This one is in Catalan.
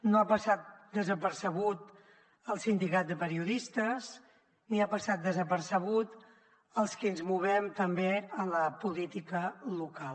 no ha passat desapercebut al sindicat de periodistes ni ha passat desapercebut als qui ens movem també en la política local